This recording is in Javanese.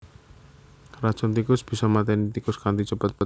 Racun tikus bisa maténi tikus kanthi cepet